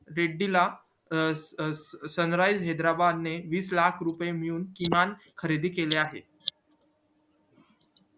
अं अं sun rised ला हैदराबाद ने वीस लाख रुपये मिळवून किमान खरेदी केलं आहे